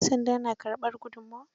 Yan sanda na karɓar gudunmawa?